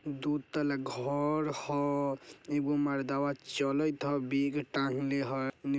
दू तल्ला घोर हो एगो मर्दावा चलैत ह बेग टांगले है --